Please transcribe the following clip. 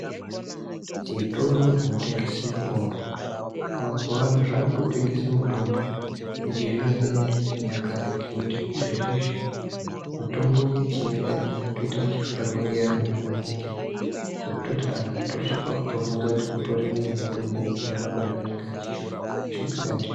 Zvitoro zvino tengese mitombo mazuva ano zvakuto tengese mitombo yechi zvino zvino neye chinyakare nekuti izvezvizvi mitombo ye chinyakare ya kutoita yechi fanirwa nge antu maningi ngekutoti anhu anoto svika kuto bvunza kuti utorimo ere mutombo unorapa zva anenge achi shupika ndizvo.